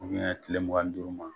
tile mugan ni duuru ma